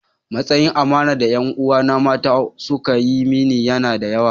Matsayin amanar da ’yan uwana mata suka yi mini yana da yawa.